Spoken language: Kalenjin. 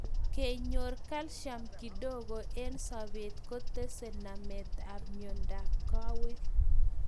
Kenyor calcium kidogo eng sapet kotese namet ap miondap kawek